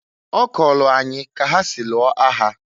Ọ kọọlụ anyị ka ha si lụọ agha.